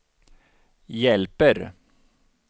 hjälper